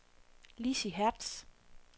Lizzie Hertz